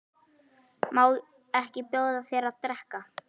Má ekki bjóða þér að drekka?